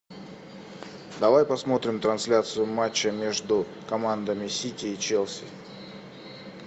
давай посмотрим трансляцию матча между командами сити и челси